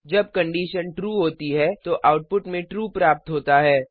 जब condition true होती है तो आउटपुट में ट्रू प्राप्त होता है